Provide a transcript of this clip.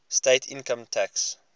state income tax